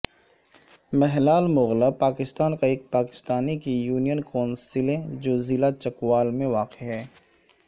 ملہال مغلاں پاکستان کا ایک پاکستان کی یونین کونسلیں جو ضلع چکوال میں واقع ہے